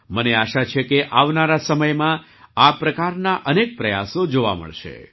મને આશા છે કે આવનારા સમયમાં આ પ્રકારના અનેક પ્રયાસો જોવા મળશે